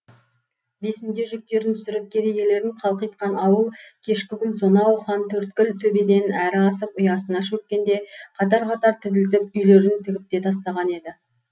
бесінде жүктерін түсіріп керегелерін қалқитқан ауыл кешкі күн сонау хантөрткіл төбеден әрі асып ұясына шөккенде қатар қатар тізілтіп үйлерін тігіп те тастаған еді